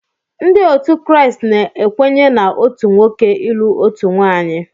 Ndị otu Kraịst na-ekwenye na otu nwoke ilụ otu nwaanyị.